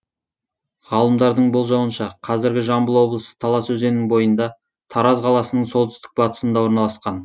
ғалымдардың болжауынша қазіргі жамбыл облысы талас өзенінің бойында тараз қаласының солтүстік батысында орналасқан